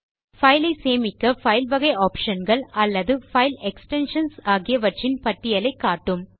file ஐ சேமிக்க file வகை ஆப்ஷன் கள் அல்லது பைல் எக்ஸ்டென்ஷன்ஸ் ஆகியவற்றின் பட்டியலை காட்டும்